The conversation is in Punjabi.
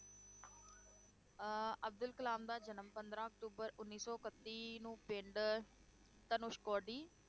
ਅਹ ਅਬਦੁਲ ਕਲਾਮ ਦਾ ਜਨਮ ਪੰਦਰਾਂ ਅਕਤੂਬਰ ਉੱਨੀ ਸੌ ਇਕੱਤੀ ਨੂੰ ਪਿੰਡ ਧਨੁਸ਼ ਕੌਡੀ,